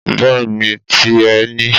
Bẹ́ẹ̀ni ti ẹ ni